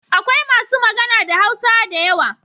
Akwai masu magana da Hausa da yawa.